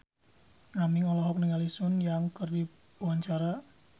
Aming olohok ningali Sun Yang keur diwawancara